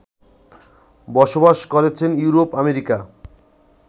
বসবাস করছেন Europe America